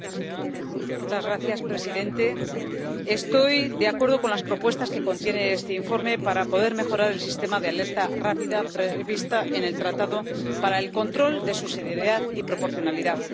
Señor presidente, estoy de acuerdo con las propuestas que contiene este informe para poder mejorar el sistema de alerta rápida previsto en el Tratado para el control de subsidiariedad y proporcionalidad.